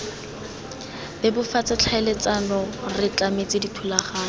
bebofatse tlhaeletsano re tlametse dithulaganyo